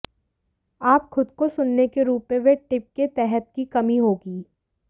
आप खुद को सुनने के रूप में वे टिप के तहत की कमी होगी